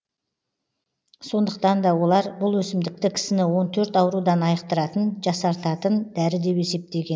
сондықтан да олар бұл өсімдікті кісіні он төрт аурудан айықтыратын жасартатын дәрі деп есептеген